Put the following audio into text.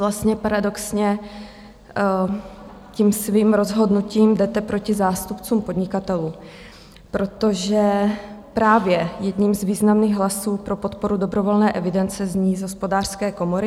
Vlastně paradoxně tím svým rozhodnutím jdete proti zástupcům podnikatelů, protože právě jeden z významných hlasů pro podporu dobrovolné evidence zní z Hospodářské komory.